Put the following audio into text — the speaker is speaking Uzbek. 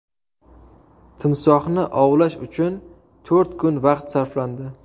Timsohni ovlash uchun to‘rt kun vaqt sarflandi.